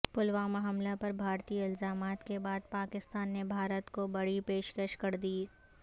پلوامہ حملہ پر بھارتی الزامات کے بعد پاکستان نے بھارت کو بڑی پیشکش کردی